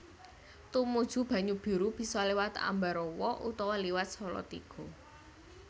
Tumuju Banyubiru bisa liwat Ambarawa utawa liwat Salatiga